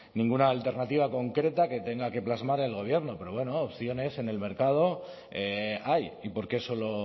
ninguna alternativa concreta que tenga que plasmar el gobierno pero bueno opciones en el mercado hay y por qué solo